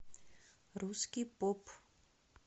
русский поп